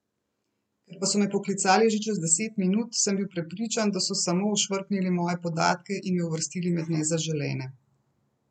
Ker pa so me poklicali že čez deset minut, sem bil prepričan, da so samo ošvrknili moje podatke in me uvrstili med nezaželene.